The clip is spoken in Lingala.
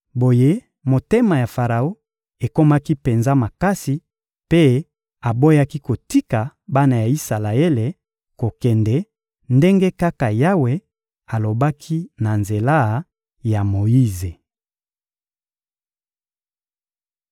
Boye motema ya Faraon ekomaki penza makasi mpe aboyaki kotika bana ya Isalaele kokende, ndenge kaka Yawe alobaki na nzela ya Moyize.